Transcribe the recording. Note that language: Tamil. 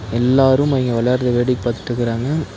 எல்லாரும் அவிங்க விளையாடுறத வேடிக்க பாத்துட்டுருக்குறாங்க.